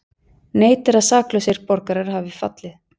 Neitar að saklausir borgarar hafi fallið